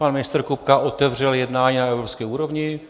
Pan ministr Kupka otevřel jednání na evropské úrovni.